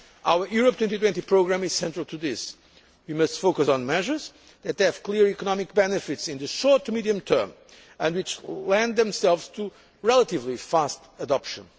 Our Europe 2020 programme is central to this. We must focus on measures that have clear economic benefits in the short to medium term and which lend themselves to relatively fast adoption.